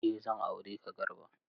Eh zan aureka Garba.